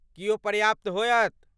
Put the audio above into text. की ओ पर्याप्त होयत?